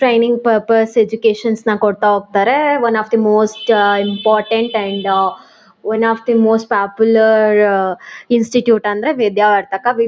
Training purpose educations ನ ಕೊಡ್ತಾ ಹೋಗ್ತಾರೆ one of the most important and one of the most popular institute ಅಂದ್ರೆ Vidyavardhaka. V--